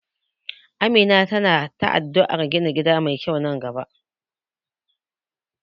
Amina ta na addu'ar ta gina gida mai kyau nan gaba.